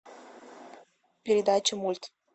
передача мульт